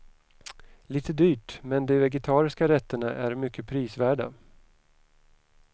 Lite dyrt, men de vegetariska rätterna är mycket prisvärda.